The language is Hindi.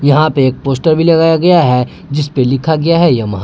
यहां पे एक पोस्टर भी लगाया गया है जिस पे लिखा गया है यमहा ।